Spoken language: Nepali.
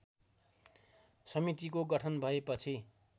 समितिको गठन भएपछि